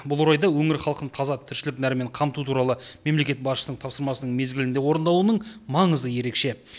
бұл орайда өңір халқын таза тіршілік нәрімен қамту туралы мемлекет басшысының тапсырмасының мезгілінде орындалуының маңызы ерекше